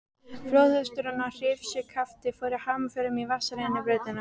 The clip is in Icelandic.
Flóðhesturinn og hrífuskaftið fóru hamförum í vatnsrennibrautinni.